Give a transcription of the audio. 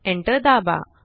enter दाबा